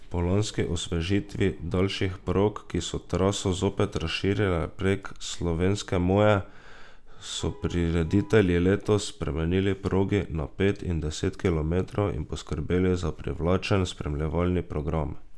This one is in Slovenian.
Po lanski osvežitvi daljših prog, ki so traso zopet razširile prek slovenske moje, so prireditelji letos spremenili progi na pet in deset kilometrov in poskrbeli za privlačen spremljevalni program.